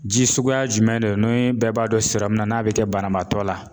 Ji suguya jumɛn don ni bɛɛ b'a dɔn, na n'a bi kɛ banabaatɔ la